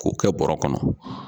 K'o kɛ bɔrɛ kɔnɔ.